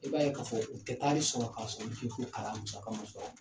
I b'a ye k'a fɔ u tɛ k'a man sɔrɔ.